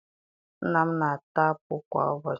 Nna m na-ata apụ kwa ụbọchị